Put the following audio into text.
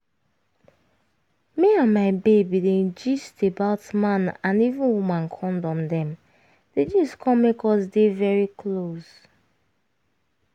me and my babe bin dey gist about man and even woman condom dem di gist come make us dey very close